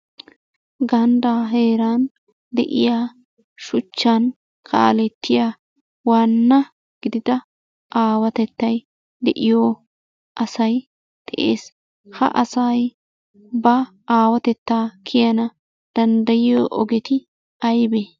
Ganddaa heeran de'iyaa shuchchan kaalettiya waanna gidida aawatettay de"iyo asay de'ees. Ha asay ba aawatettaa kiyana danddayiyo ogeti aybee?